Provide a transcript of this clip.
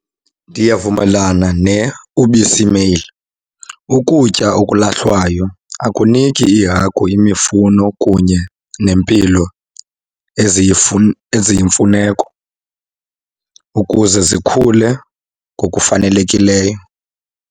Ndiyavumelana neUbisi Mail. Ukutya okulahlwayo akuniki iihagu imifuno kunye nempilo eziyimfuneko ukuze zikhule ngokufanelekileyo.